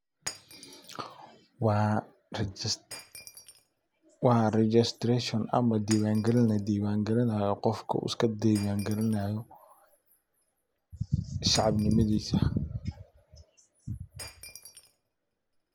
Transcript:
Waa registration ama diwan gelin la diwan gelinayo qofka u iska diwan gelinayo shacab nimadisa.